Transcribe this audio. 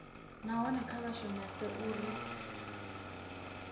nahone kha vha shumese uri